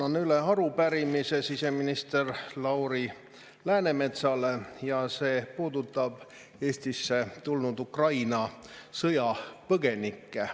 Annan üle arupärimise siseminister Lauri Läänemetsale ja see puudutab Eestisse tulnud Ukraina sõjapõgenikke.